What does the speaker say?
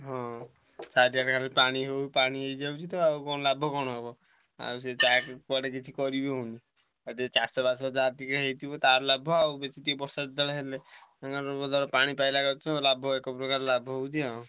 ହଁ ଚାରିଆଡେ ଖାଲି ପାଣି ମାଡ଼ିଯାଉଛି ଆଉ ଲାଭ କଣ ହବ ଆଉ ତାପରେ କୁଆଡେ କିଛି କରିବିହଉନି ଆଉ ଟିକେ ଚାଷ ବାସ ଯାହାର ହେଇଥିବ ତାର ଲାଭ ଆଉ ବେଶୀ ଟିକେ ବର୍ଷା ଯେତବେଳେ ହେଲେ ତାଙ୍କର ତ ପାଣି ପଇଲା ଗଛ ଆଉ ଲାଭ ଏକପ୍ରକାର ଲାଭ ହଉଛି ଆଉ।